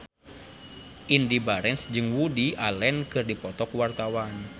Indy Barens jeung Woody Allen keur dipoto ku wartawan